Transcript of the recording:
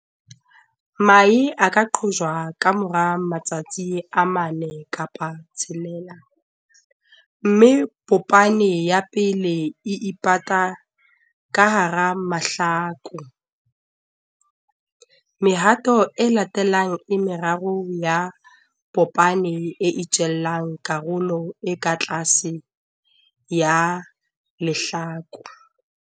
Mahe a qhotswa ka mora matsatsi a 4 6, mme popane ya pele e ipata ka hara mahlaku. Mehato e latelang e meraro ya popane e itjella karolo e ka tlase ya lehlaku.